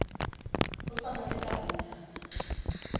ho sa na le tabanyana